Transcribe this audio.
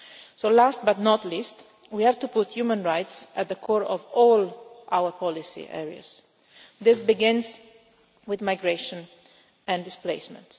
So, last but not least, we have to put human rights at the core of all our policy areas. This begins with migration and displacement.